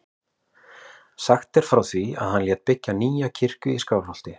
Sagt er frá því að hann lét byggja nýja kirkju í Skálholti.